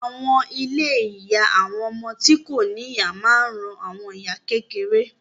Àwọn ilé ìyá àwọn ọmọ tí kò ní ìyá máa ń ran àwọn ìyá kékeré